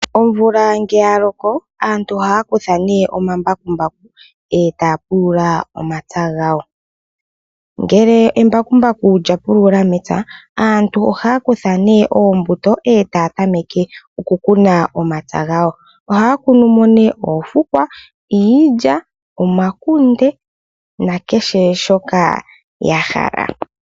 Omvula ngele yaloko aantu ohaya kutha omambakumbaku, e taya pulula omapya gawo. Ngele embakumbaku lyapulula mepya aantu ohaya kutha nee oombuto e taya tameka oku kuna omapya gawo. Ohaya kunu moo nee oofukwa, iilya, omakunde nakehe shoka ya hala.